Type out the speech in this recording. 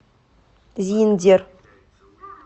зиндер